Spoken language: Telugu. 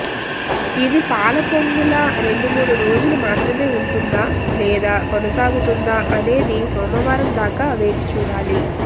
ఇది పాల పొంగులా రెండు మూడు రోజులు మాత్రమే ఉంటుందా లేదా కొనసాగుతుందా అనేది సోమవారం దాకా వేచి చూడాలి